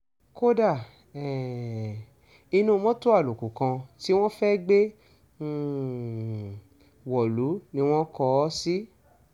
kódà um inú mọ́tò àlòkù kan tí wọ́n fẹ́ẹ́ gbé um wọ̀lú ni wọ́n kọ ọ́ sí